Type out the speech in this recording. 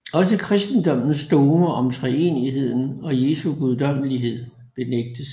Også kristendommens dogmer om treenigheden og Jesu guddommelighed benægtes